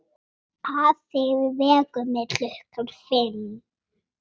Afi vekur mig klukkan fimm.